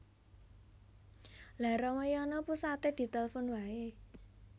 Lha Ramayana pusate ditelfon wae